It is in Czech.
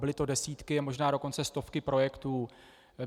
Byly to desítky a možná dokonce stovky projektů.